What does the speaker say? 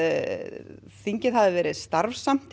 þingið hafi verið starfsamt því